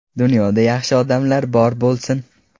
Dunyoda yaxshi odamlar bor bo‘lsin.